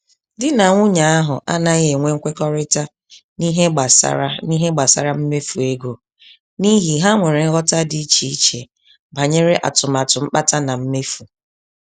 Di na nwunye ahụ anaghị enwe nkwekorita n'ihe gbásárá n'ihe gbásárá mmefu ego, n'ihi ha nwèrè nghọta dị iche iche banyere atụmatụ mkpata na mmefu